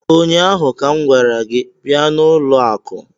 ụnyaahụ ka m gwara gị bịa n'ụlọ akụ!